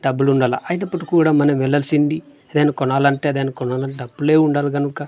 డబ్బులు ఉండాలా అయినప్పటికీ కూడా మనం వెళ్లాల్సింది ఏదైనా కొనాలంటే దాని కొనాలంటే డబ్బులే ఉండాలి గనుక--